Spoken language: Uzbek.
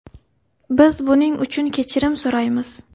Biz buning uchun kechirim so‘raymiz.